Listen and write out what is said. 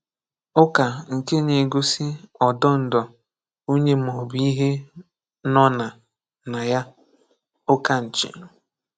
Ụ́kà nkè ná-égōsí ọdó̄ǹdọ̀ onye ma ọ̀ bụ̀ ìhè nọ̀ ná ná yá (ụ̀kánchị).